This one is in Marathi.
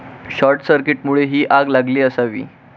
शॉर्टसर्किटमुळे ही आग लागली असावी.